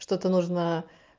что-то нужно